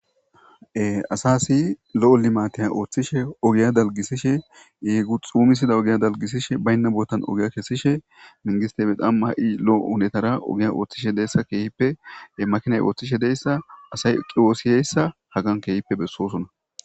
Asasi lo7o limateya ooththishe ogiya dalgisishe yeegu xuumisida ogiya dalgisishe baynna bootan ogiya kessishe mingisteme damma ha7i lo7o unetara ogiya ooththishe deessa keehippe makinay ooththishe deyssa asay qiwoosiyeyssa hagan keehippe bessoosona.